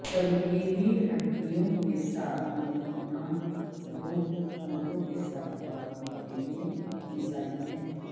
چمکیلی ہڈیوں کے ساتھ نمکنا بھوک ہونٹوں کے ساتھ خواتین کے لئے مثالی ہے